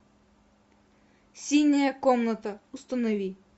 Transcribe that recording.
синяя комната установи